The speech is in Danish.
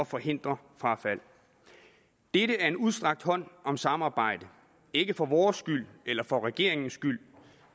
forhindrer frafald dette er en udstrakt hånd om samarbejde ikke for vores skyld eller for regeringens skyld